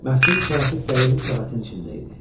Məftil kələfi dəyirmi səbətin içində idi.